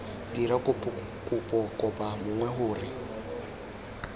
dira kopo kopa mongwe gore